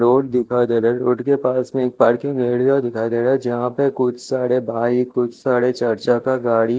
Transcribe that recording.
road दिखाई दे रहा है रोड के पास में एक पार्किंग का एरिया दिखाई दे रहा है जहाँ पे कुछसारे भाई कुछ सारे चर्चा का गाडी--